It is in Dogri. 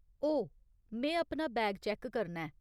ओह्, में अपना बैग चैक्क करना ऐ।